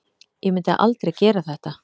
Ég myndi aldrei gera þetta.